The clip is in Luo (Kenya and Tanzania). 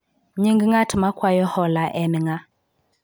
nying ng'at makwayo hola en ng'a?